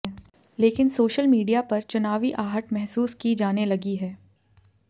लेकिन social media पर चुनावी आहट महसूस की जाने लगी है